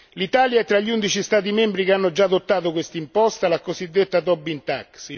L'Italia è tra gli undici Stati membri che hanno già adottato quest'imposta, la cosiddetta Tobin tax.